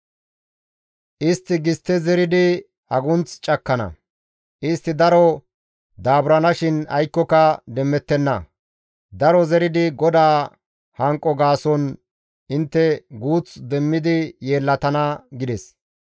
Istti gistte zeridi agunth cakkana; istti daro daaburanaashin aykkoka demmettenna; daro zeridi GODAA hanqo gaason intte guuth demmidi yeellatana» gides.